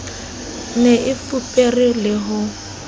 ne e fupere le ho